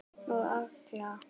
Og alla.